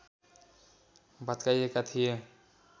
भत्काइएका थिए